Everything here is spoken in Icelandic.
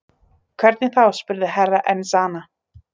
Hvernig þá spurði Herra Enzana.